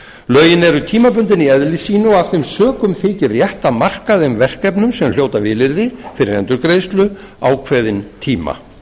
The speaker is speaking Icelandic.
lögin eru tímabundin í eðli sínu og af þeim sökum þykir rétt að marka þeim verkefnum sem hljóta vilyrði fyrir endurgreiðslu ákveðinn tíma